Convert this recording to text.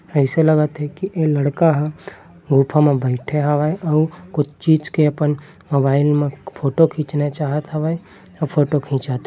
अइसे लगत हे की ए लड़का ह गुफा म बइठे हवय अउ कुछ चीज के अपने मोबाइल म फोटो खींचना चाहत हवय अउ फोटो खींचत --